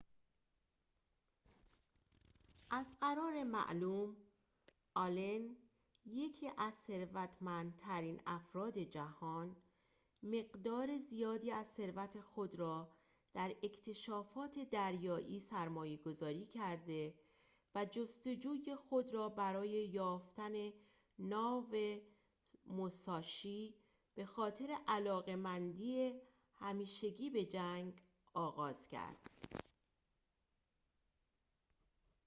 از قرار معلوم آلن یکی از ثروتمندترین افراد جهان مقدار زیادی از ثروت خود را در اکتشافات دریایی سرمایه‌گذاری کرده و جستجوی خود را برای یافتن ناو موساشی ب خاطر علاقه‌مندی همیشگی به جنگ آغاز کرد